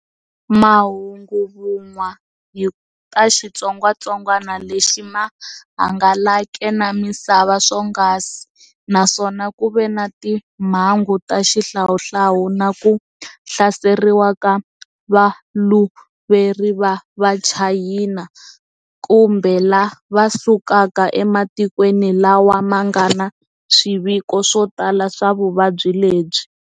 Mahunguvun'wa hi ta xitsongatsongwana lexi ma hangalake na misava swonghasi, naswona ku ve na timhangu ta xihlawuhlawu na ku hlaseriwa ka valuveri va vachayina kumbe la va sukaka e matikweni lawa ma ngana swiviko swo tala swa vuvabyi lebyi.